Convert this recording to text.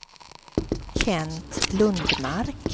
Kent Lundmark